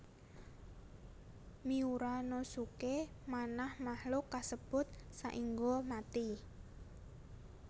Miura no suke manah makhluk kasebut saéngga mati